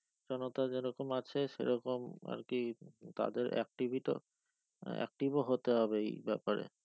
জনতা যেরকম আছে সে রকম আর কি তাদের active ও হতে হবে এই ব্যাপারে।